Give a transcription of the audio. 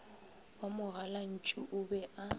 wa mogalantšu o be a